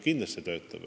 Kindlasti töötab.